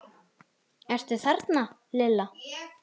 Ertu þarna Lilla?